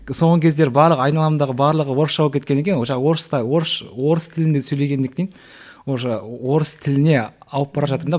соңғы кездері барлық айналамдағы барлығы орысша болып кеткен екен вообще орыс та орыс тілінде сөйлегендіктен уже орыс тіліне ауып бара жатырмын да